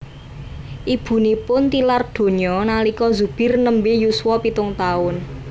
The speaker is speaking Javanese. Ibunipun tilar donya nalika Zubir nembe yuswa pitung taun